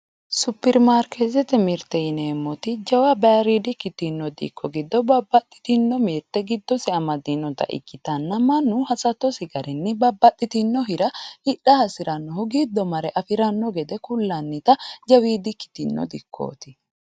Superimaarketete mirte yineemmoti jawa bayiridi dikko ikkitinote giddo babbaxxitino mirte amadinotta ikkittanna mannu hasattonsa garinni hidha hasiirano gede ku'lannitta jawidi dikkoti.